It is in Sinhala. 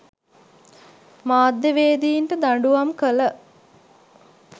මධ්‍යවේදීන්ට දඬුුවම් කළ